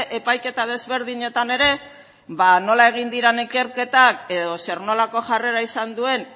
epaiketa desberdinetan ere ba nola egin diren ikerketak edo zer nolako jarrera izan duten